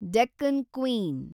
Deccan queen